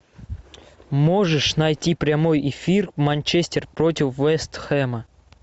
можешь найти прямой эфир манчестер против вест хэма